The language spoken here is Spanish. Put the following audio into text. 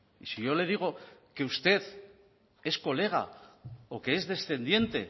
y si yo le digo que usted es colega o que es descendiente